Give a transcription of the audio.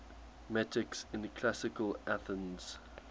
metics in classical athens